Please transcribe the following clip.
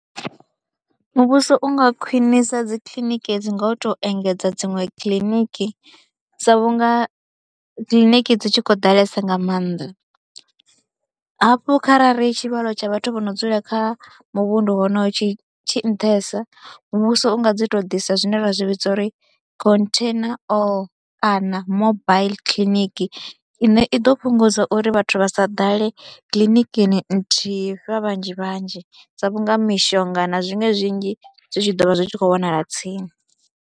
Muvhuso u nga khwinisa dzi kiḽiniki dzi nga u tou engedza dziṅwe kiḽiniki sa vhunga kiḽiniki dzi tshi khou ḓalesa nga maanḓa hafhu kharali tshivhalo tsha vhathu vho no dzula kha muvhundu wonoyo tshi tshi nṱhesa muvhuso u nga dzi tou ḓisa zwine ra zwi vhidza uri container or kana mobile kiḽiniki ine i ḓo fhungudza uri vhathu vha sa ḓale kiḽinikini nthihi vha vhanzhi vhanzhi sa vhunga mishonga na zwiṅwe zwinzhi zwi tshi ḓo vha zwi tshi khou wanala tsini.